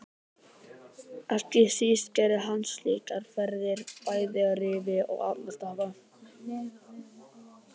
Ekki síst gerði hann slíkar ferðir bæði að Rifi og Arnarstapa.